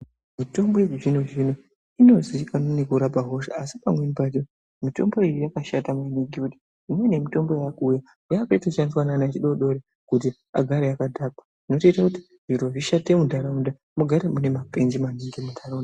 Mitombo yechizvino zvino inozikanwa nekurape hosha asi pamweni pachona mitombo iyi yakashata ngekuti imweni mitombo irikuuya yakushandiswa neana echidodori kuti agare akadhakwa zvinotoita kuti zviro zvishate muntaraunda mugare mune mapenzi maningi muntaraunda.